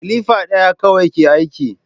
Kilifa ɗaya kawai ke aiki